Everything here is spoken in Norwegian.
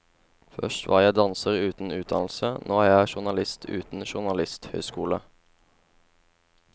Først var jeg danser uten utdannelse, nå er jeg journalist uten journalisthøyskole.